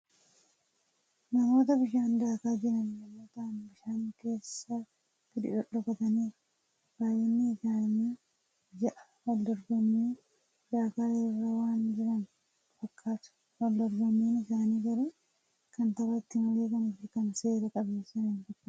Namoota bishaan daakaa jiran yommuu ta'an, bishaan keessa gadi dhodhokataniiru. Baay'inni isaanii ja'a. Waldorgommii daakaa irra waan jiran fakkatu. waldorgommiin isaanii garuu kan taphati malee isa kan seera qabeessaa hin fakkatu.